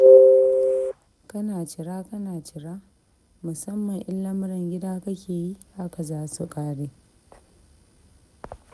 Kana cira kana cira, musamman in lamuran gida kake yi, haka za su ƙare.